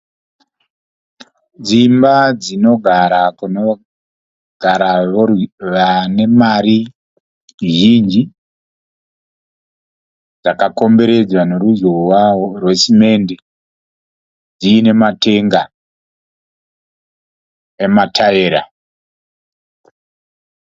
Dzimba dzinogara kunogara vane mari zhinji, dzakakomberedzwa neruzhowa rwesimendi, dziine matenga emataera.